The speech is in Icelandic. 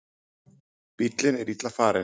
Bíllinn er illa farinn